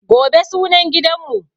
Gobe sunan gidanmu.